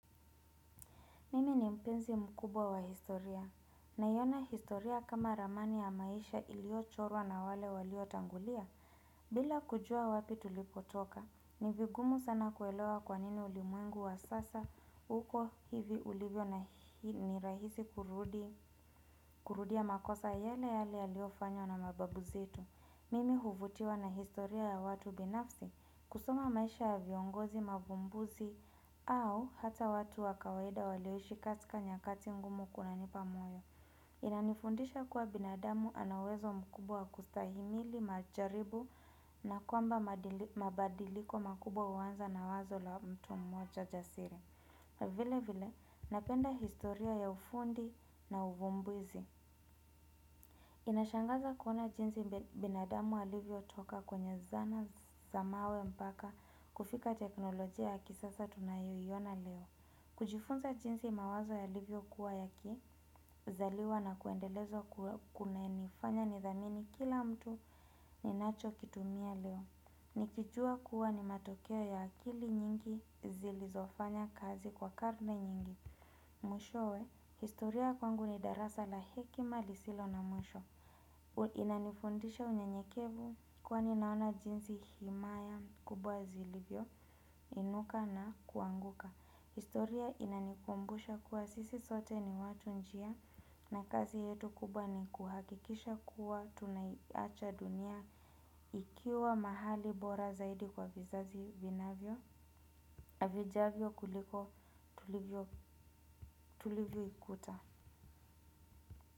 Mimi ni mpenzi mkubwa wa historia naiona historia kama ramani ya maisha iliyo chorwa na wale walio tangulia. Bila kujua wapi tulipotoka, ni vigumu sana kuelewa kwa nini ulimwengu wa sasa uko hivi ulibyo na ni rahisi kurudia makosa yale yale yaliofanywa na mababu zetu. Mimi huvutiwa na historia ya watu binafsi kusoma maisha ya viongozi mavumbuzi au ata watu wa kawaida walioishi katika nyakati ngumu kuna nipa moyo. Kunanifundisha kuwa binadamu ana uwezo mkubwa wa kustahimili majaribu na kwamba mabadiliko makubwa huanza na wazo la mtu mmoja jasiri. Vile vile napenda historia ya ufundi na uvumbuzi. Inashangaza kuona jinsi binadamu alivyo toka kwenye zana za mawe mpaka kufika teknolojia ya kisasa tunayo iona leo. Kujifunza jinsi mawazo yalivyo kuwa yaki zaliwa na kuendelezwa kunanifanya ni dhamini kila mtu ninacho kitumia leo. Nikijua kuwa ni matokeo ya akili nyingi zilizofanya kazi kwa karne nyingi. Mwishowe, historia kwangu ni darasa la hekima lisilo na mwisho. Inanifundisha unyenyekevu kwani naona jinsi himaya kubwa zilivyo, inuka na kuanguka. Historia inanikumbusha kuwa sisi sote ni watu njia na kazi yetu kubwa ni kuhakikisha kuwa tunaiacha dunia ikiwa bora zaidi kwa vizazi vinavyo na vijavyo kuliko bora tulivyo tulivyo ikuta.